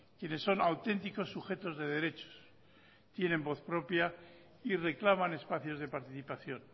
quienes son auténticos sujetos de derechos tienen voz propia y reclaman espacios de participación